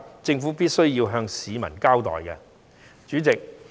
政府是有需要向市民交代原因的。